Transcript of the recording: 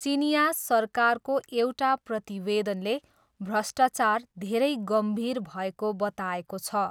चिनियाँ सरकारको एउटा प्रतिवेदनले भ्रष्टाचार 'धेरै गम्भीर' भएको बताएको छ।